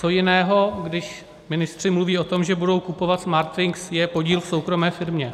Co jiného, když ministři mluví o tom, že budou kupovat Smartwings, je podíl v soukromé firmě?